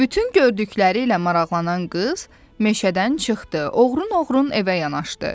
Bütün gördükləri ilə maraqlanan qız meşədən çıxdı, oğrun-oğrun evə yanaşdı.